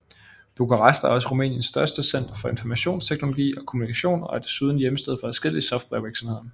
Bukarest er også Rumæniens største center for informationsteknologi og kommunikation og er desuden hjemsted for adskillige softwarevirksomheder